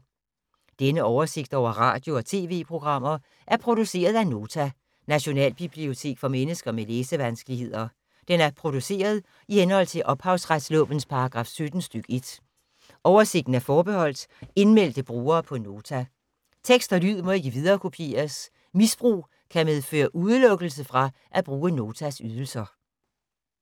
Denne oversigt over radio og TV-programmer er produceret af Nota, Nationalbibliotek for mennesker med læsevanskeligheder. Den er produceret i henhold til ophavsretslovens paragraf 17 stk. 1. Oversigten er forbeholdt indmeldte brugere på Nota. Tekst og lyd må ikke viderekopieres. Misbrug kan medføre udelukkelse fra at bruge Notas ydelser.